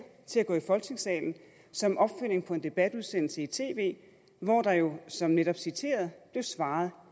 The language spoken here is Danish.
til at gå i folketingssalen som opfølgning på en debatudsendelse i tv hvor der jo som netop citeret blev svaret